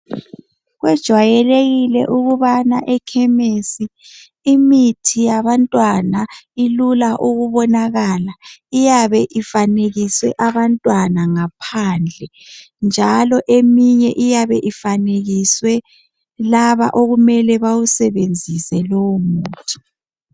Kujwayelekile ukubana ekhemisi imithi yabantwana ilula ukubonakala iyabe ifanekiswe abantwana ngaphandle njalo eminye iyabe ifanekiswe laba okumele bewusebenzise lowo muthi.